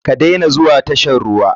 Ka dena zuwa tashan ruwa.